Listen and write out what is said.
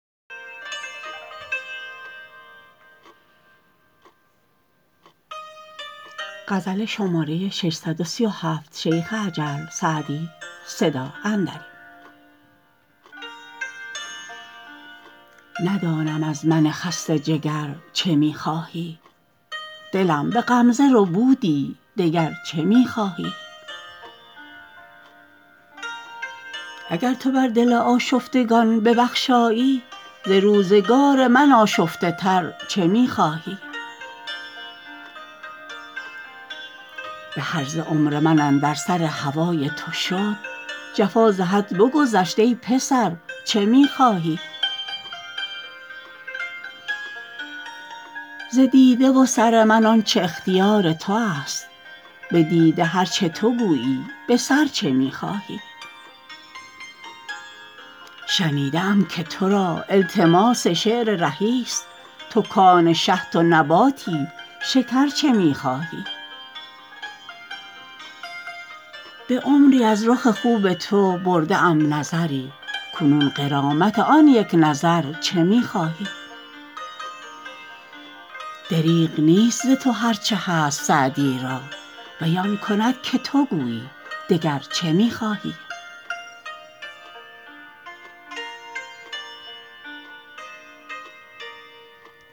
ندانم از من خسته جگر چه می خواهی دلم به غمزه ربودی دگر چه می خواهی اگر تو بر دل آشفتگان ببخشایی ز روزگار من آشفته تر چه می خواهی به هرزه عمر من اندر سر هوای تو شد جفا ز حد بگذشت ای پسر چه می خواهی ز دیده و سر من آن چه اختیار تو است به دیده هر چه تو گویی به سر چه می خواهی شنیده ام که تو را التماس شعر رهی ست تو کآن شهد و نباتی شکر چه می خواهی به عمری از رخ خوب تو برده ام نظری کنون غرامت آن یک نظر چه می خواهی دریغ نیست ز تو هر چه هست سعدی را وی آن کند که تو گویی دگر چه می خواهی